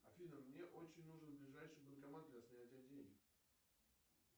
афина мне очень нужен ближайший банкомат для снятия денег